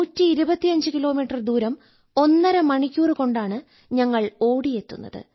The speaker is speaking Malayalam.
125 കിലോമീറ്റർ ദൂരം ഒന്നര മണിക്കൂറു കൊണ്ടാണ് ഞങ്ങൾ ഓടിയെത്തുന്നത്